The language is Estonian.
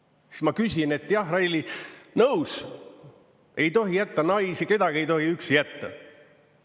Siis ma küsin, et jah, Reili, nõus, ei tohi jätta naisi üksi, kedagi ei tohi üksi jätta.